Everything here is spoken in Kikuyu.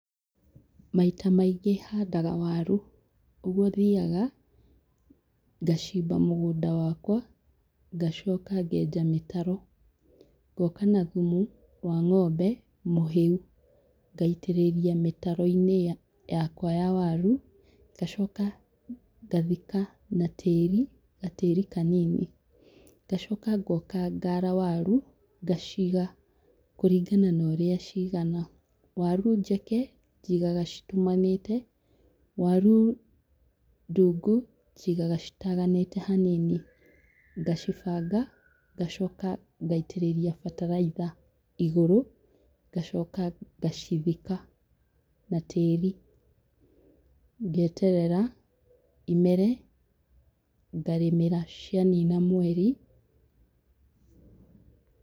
Maita maingĩ handaga waru. Ũguo thiaga ngacimba mũgũnda wakwa, ngacoka ngenja mĩtaro, ngoka na thumu wa ng'ombe mũhĩu, ngaitĩrĩria mĩtaro-inĩ ya yakwa ya waru, ngacoka ngathika na tĩri gatĩri kanini, ngacoka ngoka ngaara waru, ngaciga kũringana na ũrĩa ciigana. Waru njeke njigaga citumanĩte, waru ndungu njigaga citaganĩte hanini, ngacibanga, ngacoka ngaitĩrĩria bataraitha igũrũ, ngacoka ngacithika na tĩri, ngeterera imere, ngarĩmĩra cianina mweri.